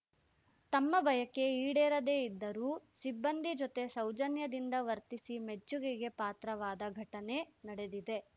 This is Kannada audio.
ತಮ್ಮ ಬಯಕೆ ಈಡೇರದೇ ಇದ್ದರೂ ಸಿಬ್ಬಂದಿ ಜೊತೆ ಸೌಜನ್ಯದಿಂದ ವರ್ತಿಸಿ ಮೆಚ್ಚುಗೆಗೆ ಪಾತ್ರವಾದ ಘಟನೆ ನಡೆದಿದೆ